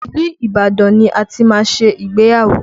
Ilu Ibadan ni a ti máa ṣe ìgbéyàwó